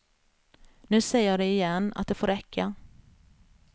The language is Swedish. Nu säger jag det igen, att det får räcka.